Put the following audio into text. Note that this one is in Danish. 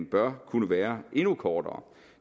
bør kunne være endnu kortere